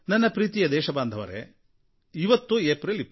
ನನ್ನ ಪ್ರೀತಿಯ ದೇಶಬಾಂಧವರೇ ಇವತ್ತು ಏಪ್ರಿಲ್ 24